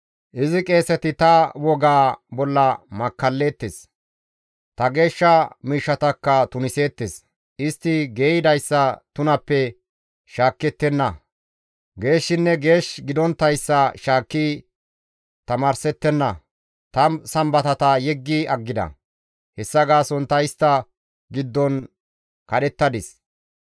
Izi qeeseti ta wogaa bolla makkalleettes; ta geeshsha miishshatakka tuniseettes. Istti geeyidayssa tunappe shaakettenna; geeshshinne geesh gidonttayssa shaakki tamaarsettenna; ta sambatata yeggi aggida; hessa gaason ta istta giddon kadhettadis.